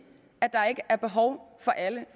at der ikke er behov for alle